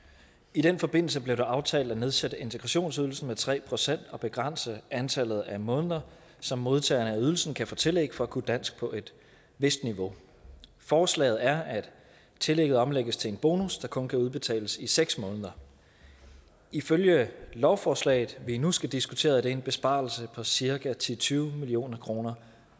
i den forbindelse blev det aftalt at nedsætte integrationsydelsen med tre procent og begrænse antallet af måneder som modtageren af ydelsen kan få tillæg for for at kunne dansk på et vist niveau forslaget er at tillægget omlægges til en bonus der kun kan udbetales i seks måneder ifølge lovforslaget vi nu skal diskutere er det en besparelse på cirka ti til tyve million kroner